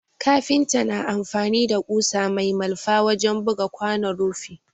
Kafinta na amfani da ƙusa mai malfa wajen buga kwanon rufi